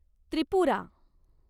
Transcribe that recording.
Tripura